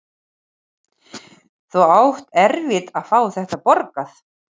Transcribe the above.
Þú átt eftir að fá þetta borgað!